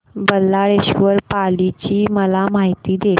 बल्लाळेश्वर पाली ची मला माहिती दे